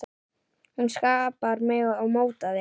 Hún skapaði mig og mótaði.